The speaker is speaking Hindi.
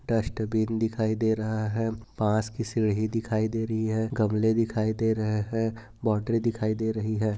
डस्टबिन दिखायी दे रहा है। पास की सीढ़ी दिखायी दे रही है। गमले दिखायी दे रहे हैं। बोटल दिखायी दे रही है।